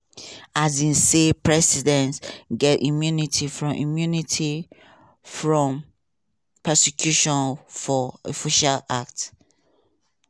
um say presidents get immunity from immunity from prosecution for official acts.